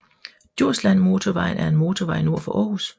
Djurslandmotorvejen er en motorvej nord for Aarhus